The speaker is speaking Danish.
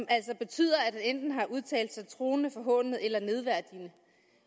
altså betyder at han enten har udtalt sig truende forhånende eller nedværdigende